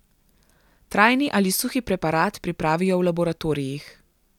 Trajni ali suhi preparat pripravijo v laboratorijih.